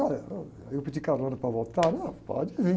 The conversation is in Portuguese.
Aí eu pedi carona para voltar. Não, pode ir.